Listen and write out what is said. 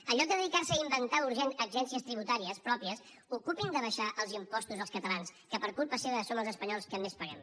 en lloc de dedicar se a inventar agències tributàries pròpies ocupin se d’abaixar els impostos als catalans que per culpa seva som els espanyols que més paguem